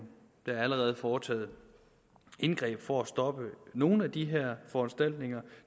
der er allerede foretaget indgreb for at stoppe nogle af de her foranstaltninger